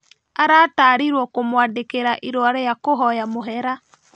Aratarirwo kũmwandĩkĩra irũa rĩa kũhoya mũhera